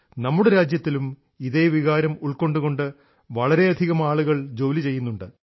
നമ്മുടെ രാജ്യത്തിലും ഇതേ വികാരം ഉൾക്കൊണ്ടുകൊണ്ട് വളരെയധികം ആളുകൾ ജോലി ചെയ്യുന്നുണ്ട്